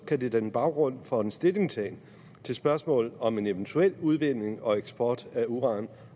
kan det danne baggrund for en stillingtagen til spørgsmålet om en eventuel udvindingen og eksport af uran